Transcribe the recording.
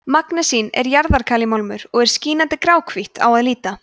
magnesín er jarðalkalímálmur og er skínandi gráhvítt á að líta